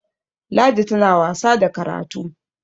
ladi tana wasa da karatu!